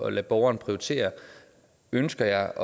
at lade borgeren prioritere ønsker jeg